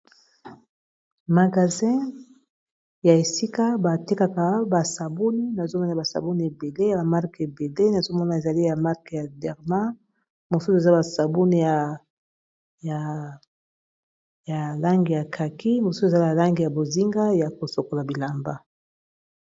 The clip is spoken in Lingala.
Magazin ya esika batekaka ba sabuni nazomona ba sabouni ebele ya ba marke ebele nazo mona ezali ya marke ya derma mosusu ezala basabuni ya langi ya kaki mosusu ezala ya langi ya bozinga ya kosokola bilamba.